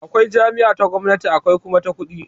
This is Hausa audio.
Akwai jami'a ta gwamnati akwai kuma ta kuɗi